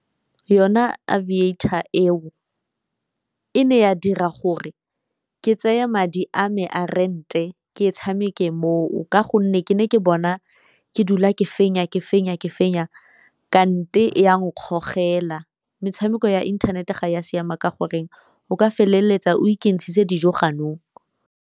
Yona Aviator eo e ne ya dira gore ke tseya madi a me a rente ke e tshameke moo, ka gonne ke ne ke bona ke dula ke fenya ke fenya ke fenya kante e a nkgogela. Metshameko ya internet-e ga ya siama ka gore o ka feleletsa o ikentshitse dijo ganong.